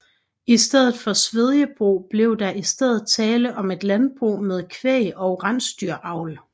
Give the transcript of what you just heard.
I stedet for svedjebrug blev der i stedet tale om et landbrug med kvæg og rensdyravl